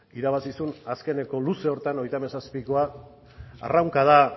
irabazi zuen azkeneko luze horretan hogeita hamazazpikoa arraunkada